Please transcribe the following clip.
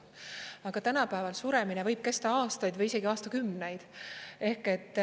Aga tänapäeval suremine võib kesta aastaid või isegi aastakümneid.